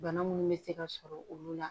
Bana munnu bɛ se ka sɔrɔ olu la